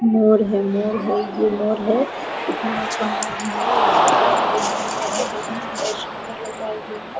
मोर है मोर है ये मोर है इतना अच्छा मोर देखने मे बहुत सुन्दर लग रहा है ये मोर |